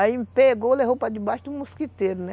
Aí me pegou, levou para debaixo de um mosquiteiro, né?